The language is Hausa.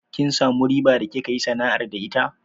Kin samu riba da kika yi sana'ar da ita?